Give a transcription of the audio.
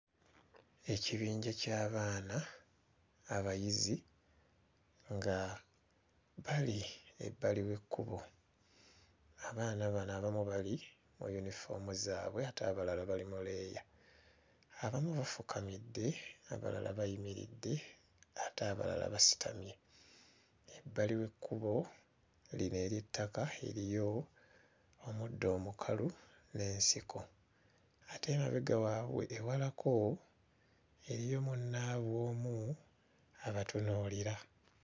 Ekibinja ky'abaana abayizi nga bali ebbali w'ekkubo abaana bano abana bali mu yunifoomu zaabwe ate abalala bali mu leeya. Abamu bafukamidde abalala bayimiridde ate abalala basitamye. Ebbali w'ekkubo lino ery'ettaka eriyo omuddo omukalu n'ensiko ate emabega waabwe ewalako eriyo munnaabwe omu abatunuulira.